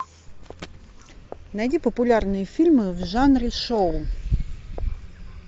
найди популярные фильмы в жанре шоу